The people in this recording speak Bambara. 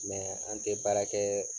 an tɛ baara kɛ